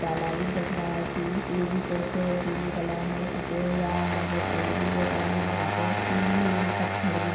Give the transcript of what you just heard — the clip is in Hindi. तालाबी दिख रहा है की ये बी कुछ पिले कलर में पुते हुआ है यहाँ पे पेड़ भी दिख रहे है यहाँ पे इ ये पत्थर भी --